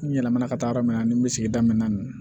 N yɛlɛmana ka taa yɔrɔ min na ni n bɛ sigida min na